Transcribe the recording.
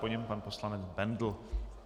Po něm pan poslanec Bendl.